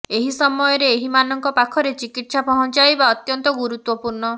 ଏହି ସମୟରେ ଏହି ମାନଙ୍କ ପାଖରେ ଚିକିତ୍ସା ପହଞ୍ଚାଇବା ଅତ୍ୟନ୍ତ ଗୁରୁତ୍ୱପୃର୍ଣ୍ଣ